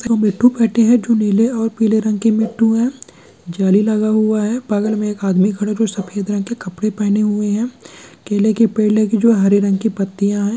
यह मिट्ठू बैठे हैं जो नीले पीले रंग के मिट्ठू है जाली लगा हुआ है बगल में एक आदमी खड़ा जो सफेद रंग के कपड़े पहने हुए है केले के पेड़ लगे हुए हरे रंग के पत्तियां हैं।